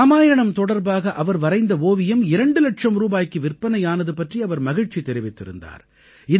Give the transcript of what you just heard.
இராமாயணம் தொடர்பாக அவர் வரைந்த ஓவியம் இரண்டு இலட்சம் ரூபாய்க்கு விற்பனை ஆனது பற்றி அவர் மகிழ்ச்சி தெரிவித்திருந்தார்